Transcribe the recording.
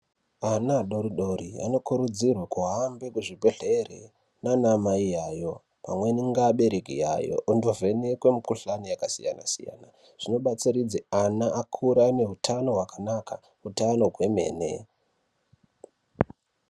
Vana vadodori vanokurudzirwa kuhamba kuzvibhedhlera nana Mai avo pamweni nevabereki vavo vondovheneka mikuhlani yakasiyana-siyana zvinobatsiridza ana akure ane hutano hwakanaka hutano Hwemene.